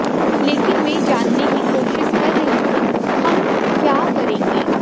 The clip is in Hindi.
लेकिन मैं जानने की कोशिश कर रही थी हम क्या करेंगे